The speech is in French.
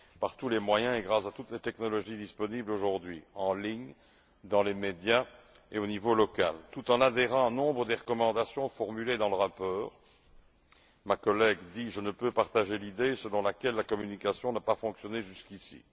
par tous les moyens et grâce à toutes les technologies disponibles aujourd'hui forums en ligne, dans les médias et au niveau local. Tout en adhérant à nombre des recommandations formulées dans le rapport, ma collègue dit je ne peux pas partager l'idée selon laquelle la communication n'a pas fonctionné jusqu'ici.